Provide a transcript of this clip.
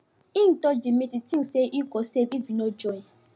him dodge the meeting thinks say e go safe if e no join